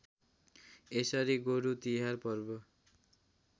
यसरी गोरुतिहार पर्व